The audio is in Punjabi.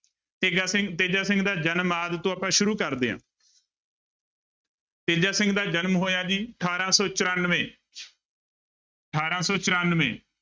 ਤੇਜਾ ਸਿੰਘ ਤੇਜਾ ਸਿੰਘ ਦਾ ਜਨਮ ਆਦਿ ਤੋਂ ਆਪਾਂ ਸ਼ੁਰੂ ਕਰਦੇ ਹਾਂ ਤੇਜਾ ਸਿੰਘ ਦਾ ਜਨਮ ਹੋਇਆ ਜੀ ਅਠਾਰਾਂ ਸੌ ਚੁਰਾਨਵੇਂ ਅਠਾਰਾਂ ਸੌ ਚੁਰਾਨਵੇਂ।